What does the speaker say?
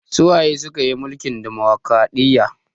Su waye suka yi mulkin ɗumukraɗiya?